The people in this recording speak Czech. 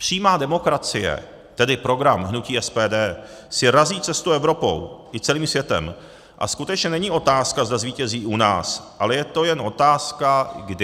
Přímá demokracie, tedy program hnutí SPD, si razí cestu Evropou i celým světem a skutečně není otázka, zda zvítězí u nás, ale je to jen otázka kdy.